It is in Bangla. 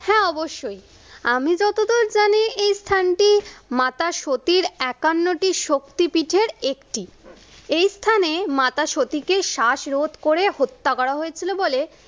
হ্যা অবশ্যই। আমি যতদূর জানি এই স্থানটি মাতা সতীর একান্নটি শক্তি পীঠের একটি, এই স্থানে মাতা সতীকে শ্বাসরোধ করে হত্যা করা হয়েছিল বলে